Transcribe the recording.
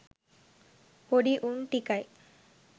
පොඩි උන් ටිකයි